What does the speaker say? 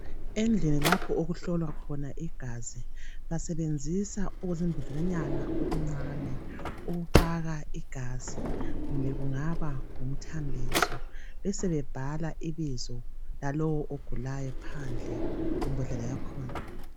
Endlini lapho okuhlolwa khona igazi basebenzisa okuzimbodlelanyana okuncane ukufaka igazi kumbe kungaba ngumthambiso besebebhala ibizo lalowo ogulayo phandle kwembodlela yakhona.